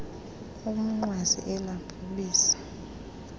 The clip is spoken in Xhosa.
umnqwazi ela bhubesi